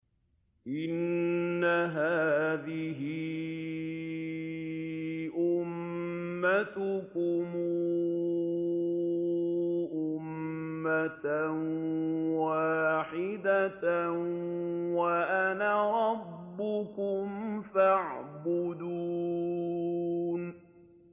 إِنَّ هَٰذِهِ أُمَّتُكُمْ أُمَّةً وَاحِدَةً وَأَنَا رَبُّكُمْ فَاعْبُدُونِ